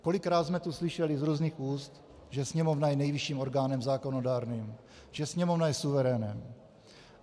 Kolikrát jsme tu slyšeli z různých úst, že Sněmovna je nejvyšším orgánem zákonodárným, že Sněmovna je suverénem.